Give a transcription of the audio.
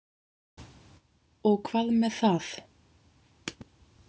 Og hvað með það?